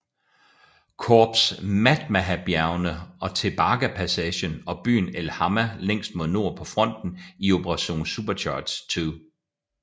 Korps Matmahabjergene og Tebaga passagen og byen El Hamma længst mod nord på fronten i Operation Supercharge II